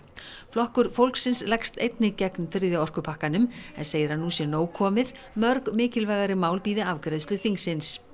flokkur fólksins leggst einnig gegn þriðja orkupakkanum en segir að nú sé nóg komið mörg mikilvægari mál bíði afgreiðslu þingsins